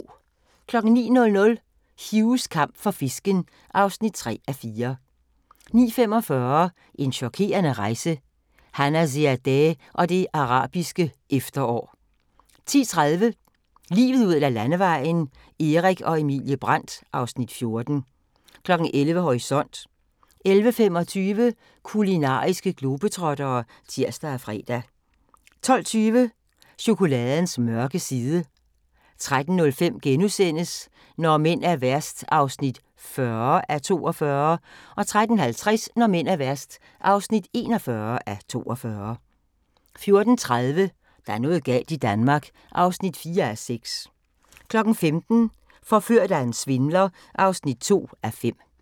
09:00: Hughs kamp for fisken (3:4) 09:45: En chokerende rejse – Hanna Ziadeh og det arabiske efterår 10:30: Livet ud ad Landevejen: Erik og Emilie Brandt (Afs. 14) 11:00: Horisont 11:25: Kulinariske globetrottere (tir og fre) 12:20: Chokoladens mørke side 13:05: Når mænd er værst (40:42)* 13:50: Når mænd er værst (41:42) 14:30: Der er noget galt i Danmark (4:6) 15:00: Forført af en svindler (2:5)